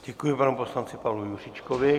Děkuji panu poslanci Pavlu Juříčkovi.